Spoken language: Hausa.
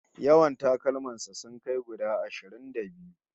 Yawan takalman sa sun kai guda ashirin da biyu